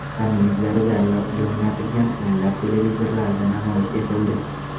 Ularning yuzlari zalga o‘rnatilgan o‘nlab televizorlarda namoyish etildi.